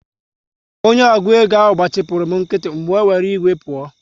Onye ọgụ égo ahụ gbachipuru m nkịtị, m wee were iwe pụọ